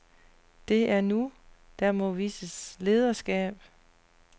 Det er nu, der må vises lederskab.